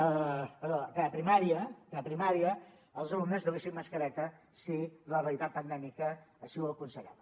perdó que a primària els alumnes duguessin mascareta si la realitat pandèmica així ho aconsellava